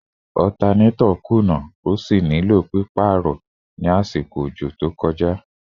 Alternator kuna ati pe o ni lati paarọ rẹ ni orisun omi to kọja